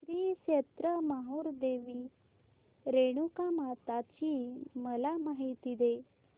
श्री क्षेत्र माहूर देवी रेणुकामाता ची मला माहिती दे